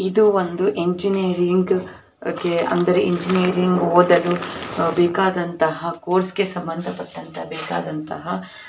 ಇದು ಒಂದು ಇಂಜಿನಿಯರಿಂಗ್ ಕೆ ಅಂದರೆ ಇಂಜಿನಿಯರಿಂಗ್ ಓದಲು ಬೇಕಾದಂತಹ ಕೋರ್ಸ್ ಗೆ ಸಮಂದಪಟ್ಟಂತ ಬೇಕಾದಂತಹ --